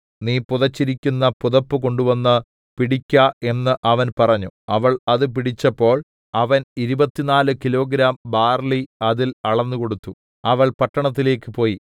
നീ പുതച്ചിരിക്കുന്ന പുതപ്പ് കൊണ്ടുവന്നു പിടിക്ക എന്നു അവൻ പറഞ്ഞു അവൾ അത് പിടിച്ചപ്പോൾ അവൻ 24 കിലോഗ്രാം ബാര്‍ലി അതിൽ അളന്നുകൊടുത്തു അവൾ പട്ടണത്തിലേക്ക് പോയി